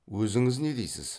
өзіңіз не дейсіз